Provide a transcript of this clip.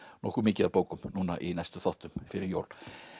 nokkuð mikið af bókum núna í næstu þáttum fyrir jól